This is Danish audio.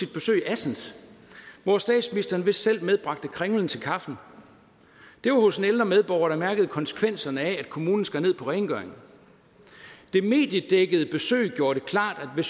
besøg i assens hvor statsministeren vist selv medbragte kringlen til kaffen det var hos en ældre medborger der mærkede konsekvenserne af at kommunen skar ned på rengøring det mediedækkede besøg gjorde det klart at